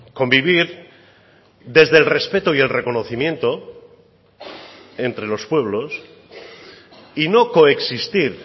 convivir desde el respeto y el reconocimiento entre los pueblos y no coexistir